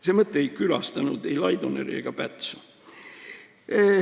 See mõte ei tulnud pähe ei Laidonerile ega Pätsule.